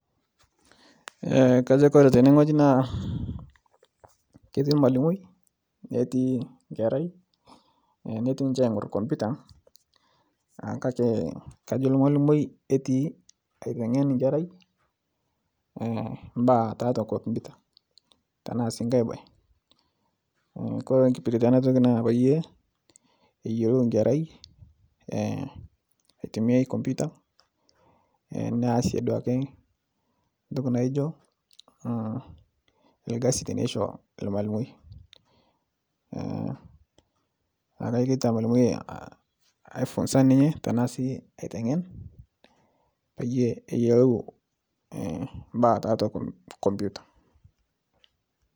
Kajo Kore tenengoji naa ketii lmalimoi, netii nkerai netii ninche aing'ur komputa kake kajo lmalimoi etii aitengen nkerai mbaa tatua komputa tanasii nkae bae, Kore nkipiritie anatoki naa payie eyolou nkerai aitumiai komputa neasie duake ntoki naijo lkasi teneisho lmalimoi naaku kajo taa ketii lmalimoi aipunsa ninye tanasi aitengen payie eyolou mbaa tatua komputa.